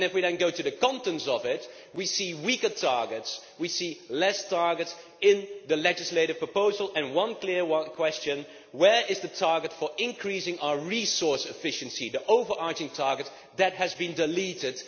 And if we then go into the contents of it, we see weaker targets, we see fewer targets in the legislative proposal, and one clear question is where is the target for increasing our resource efficiency, the over arching target that has been deleted?